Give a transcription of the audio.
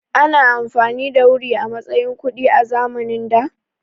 Ana amfani da wuri a matsayin kuɗi a zamanin da?